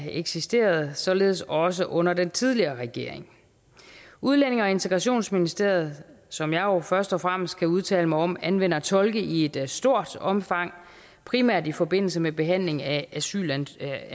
eksisterede således også under den tidligere regering udlændinge og integrationsministeriet som jeg jo først og fremmest kan udtale mig om anvender tolke i et stort omfang primært i forbindelse med behandlingen af asylansøgninger